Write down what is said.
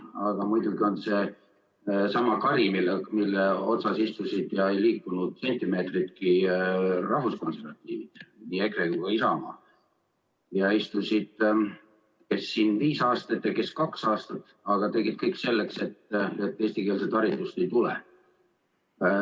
Aga muidugi on see sama kari, mille otsas istusid ja ei liikunud sentimeetritki rahvuskonservatiivid, nii EKRE kui ka Isamaa – istusid, kes viis aastat ja kes kaks aastat, aga tegid kõik selleks, et eestikeelset haridust ei tuleks.